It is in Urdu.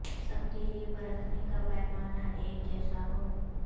سب کے لئے پرکھنے کا پیمانہ ایک جیسا ہو